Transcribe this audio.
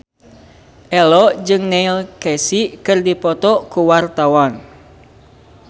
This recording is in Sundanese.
Ello jeung Neil Casey keur dipoto ku wartawan